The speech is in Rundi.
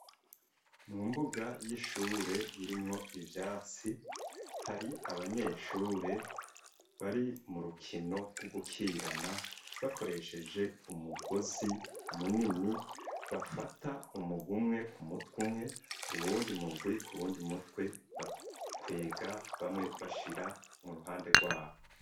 Mu mbuga y'ishure irimwo ivyatsi hari abanyeshure bari mu rukino rwo gukirana bakoresheje umugozi munini bafata umugu umwe ku mutwe umwe uwundi mugwi ku wundi mutwe bakwega bamwe bashira mu ruhande rwabo.